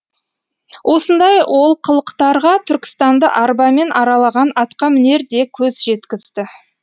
осындай олқылықтарға түркістанды арбамен аралаған атқамінер де көз жеткізді